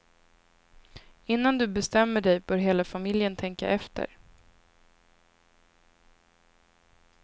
Innan du bestämmer dig bör hela familjen tänka efter.